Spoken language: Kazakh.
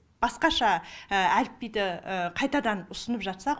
басқаша әліпбиді қайтадан ұсынып жатсақ